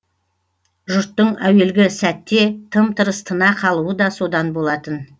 жұрттың әуелгі сәтте тым тырыс тына қалуы да содан болатын